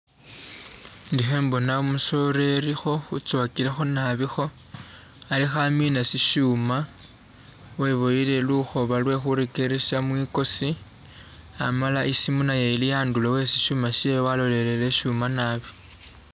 Ndikho khembona umusoleli uzowagilekho naabi kho alikho amina shishuuma webwoyele lukoba lwe khuregelesa migosi amala isimu naye ilihanduro he shuuma shewe alolelele shuuma naabi.